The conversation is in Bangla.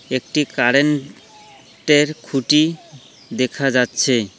একটি কারেন্ট টের খুঁটি দেখা যাচ্ছে।